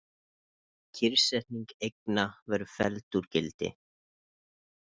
Kyrrsetning eigna verði felld úr gildi